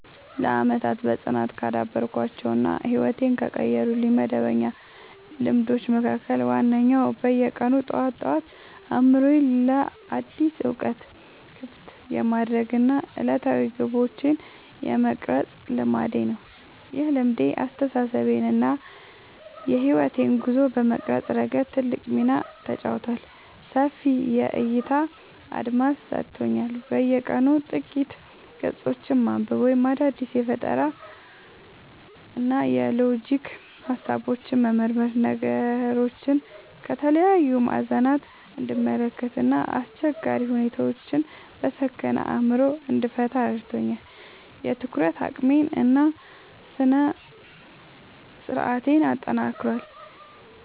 ለዓመታት በጽናት ካዳበርኳቸው እና ሕይወቴን ከቀየሩልኝ መደበኛ ልማዶች መካከል ዋነኛው በየቀኑ ጠዋት ጠዋት አእምሮዬን ለአዳዲስ እውቀቶች ክፍት የማድረግ እና ዕለታዊ ግቦቼን የመቅረጽ ልማዴ ነው። ይህ ልማድ አስተሳሰቤን እና የሕይወት ጉዞዬን በመቅረጽ ረገድ ትልቅ ሚና ተጫውቷል፦ ሰፊ የዕይታ አድማስ ሰጥቶኛል፦ በየቀኑ ጥቂት ገጾችን ማንበብ ወይም አዳዲስ የፈጠራና የሎጂክ ሃሳቦችን መመርመር ነገሮችን ከተለያዩ ማዕዘናት እንድመለከት እና አስቸጋሪ ሁኔታዎችን በሰከነ አእምሮ እንድፈታ ረድቶኛል። የትኩረት አቅሜን እና ስነ-ስርዓቴን አጠናክሯል፦